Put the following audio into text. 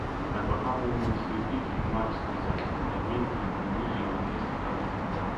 my papa warn me say if you march lizard e mean you go lose your next harvest be dat